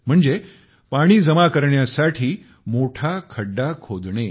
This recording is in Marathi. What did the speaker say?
म्हणजे पाणी जमा करण्यासाठी मोठा खड्डा खोडणे